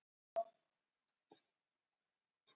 Þá höfum við engar heimildir lengur sem tengja Papa við Ísland.